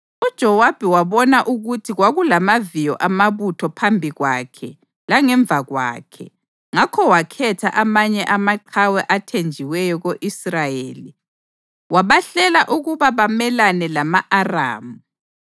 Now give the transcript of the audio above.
UJowabi wabona ukuthi kwakulamaviyo amabutho phambi kwakhe langemva kwakhe, ngakho wakhetha amanye amaqhawe athenjiweyo ko-Israyeli wabahlela ukuba bamelane lama-Aramu.